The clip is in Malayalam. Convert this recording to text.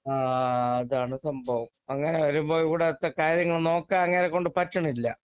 ആ അതാണ് സംഭവം അങ്ങനെ വരുമ്പോൾ ഇവിടത്തെ കാര്യങ്ങൾ നോക്കാൻ അങ്ങേരെക്കൊണ്ട് പറ്റണില്ല